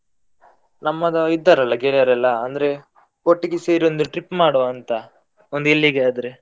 ನಮ್ಮದು ಇದ್ದಾರಲ್ಲ ಗೆಳೆಯರೆಲ್ಲ ಅಂದ್ರೆ ಒಟ್ಟಿಗೆ ಸೇರಿ ಒಂದು trip ಮಾಡ್ವ ಅಂತ ಒಂದು ಎಲ್ಲಿಗೆ ಆದ್ರೆ.